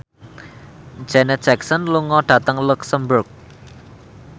Janet Jackson lunga dhateng luxemburg